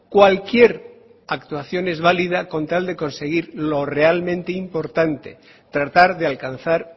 cualquier actuación es válida con tal de conseguir lo realmente importante tratar de alcanzar